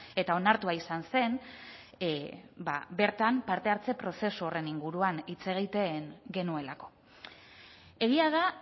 eta onartua izan zen bertan parte hartze prozesu horren inguruan hitz egiten genuelako egia da